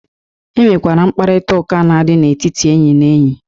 E nwere mkparịta ụka na-adị n'etiti enyi na enyi.